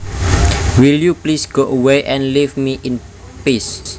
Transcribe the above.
Will you please go away and leave me in peace